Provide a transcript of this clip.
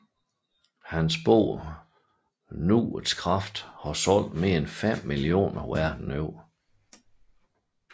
Hans bog Nuets kraft har solgt mere end 5 millioner verden over